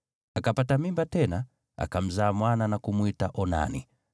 Akapata mimba tena, akamzaa mwana na kumwita Onani.